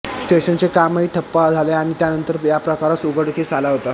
स्टेशनचे कामही ठप्प झाले आणि त्यांनतर हा प्रकार उघडकीस आला होता